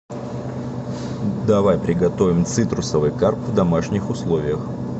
давай приготовим цитрусовый карп в домашних условиях